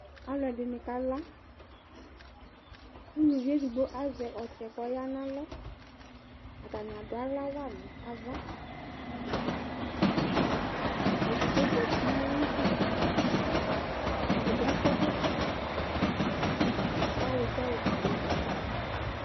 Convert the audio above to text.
Alʋɛdini kala kʋ ʋlʋvi edigbo azɛ ɔtsɛ kʋ ɔya nʋ alɔ atani adʋ aɣla wanʋ ava edigbo zati nʋ ayʋ idʋ ɛdibi akɔ ɛkɔtɔ kʋ awidza ofue dʋ aɣla